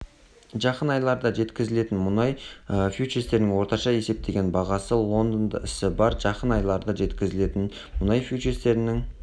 жақын айларда жеткізілетін мұнай фьючерстерінің орташа есептеген бағасы лондонда ісі барр жақын айларда жеткізілетін мұнай фьючерстерінің